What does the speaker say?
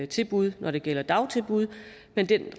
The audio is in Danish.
tilbud når det gælder dagtilbud men den